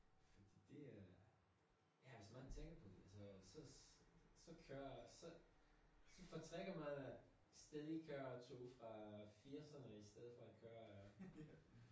Det er ja hvis man tænker på det så så så kører så så foretrækker man at stadig at køre tog fra firserne i stedet for at køre